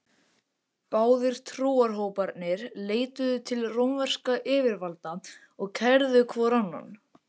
Báðir trúarhóparnir leituðu til rómverskra yfirvalda og kærðu hvor annan.